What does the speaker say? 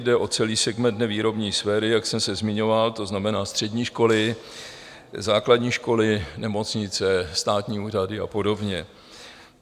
Jde o celý segment nevýrobní sféry, jak jsem se zmiňoval, to znamená střední školy, základní školy, nemocnice, státní úřady a podobně.